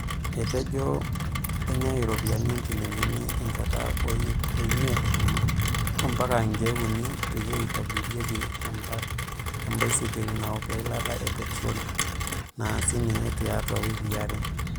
Etejoo, Enyaa iropiyiani injilingini enjataa o iip imeit ombaka inkeek unii peyie eitobirieki ebasikil naok eilata e petiroli, naasi ninye tiatu wikiii aree.